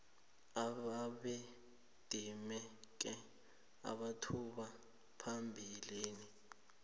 ababedimeke amathuba phambilini